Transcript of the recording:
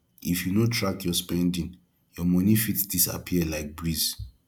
if you no track your spending your money fit disappear like breeze